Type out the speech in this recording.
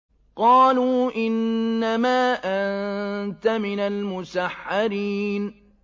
قَالُوا إِنَّمَا أَنتَ مِنَ الْمُسَحَّرِينَ